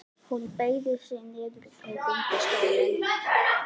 Hún beygði sig niður og tók undir stólinn.